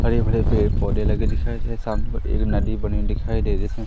हरे भरे पेड़ पौधे लगे दिखाई दे रहे सामने एक नदी बनी हुई दिखाई दे रही इसमें।